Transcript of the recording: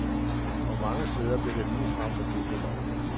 Og mange steder blev det ligefrem forbudt ved lov.